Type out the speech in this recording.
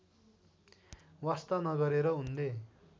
वास्ता नगरेर उनले